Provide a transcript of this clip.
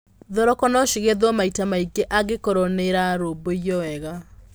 Thoroko no cigethwo maita maingĩ angĩkorwo nĩirarũmbũiyo wega.